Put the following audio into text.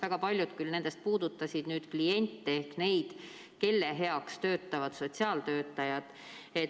Väga paljud küll nendest puudutasid kliente ehk neid, kelle heaks töötavad sotsiaaltöötajad.